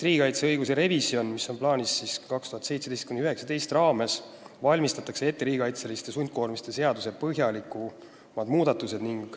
Riigikaitseõiguse revisjoni 2017–2019 raames valmistatakse nagunii ette riigikaitseliste sundkoormiste seaduse põhjalikumad muudatused.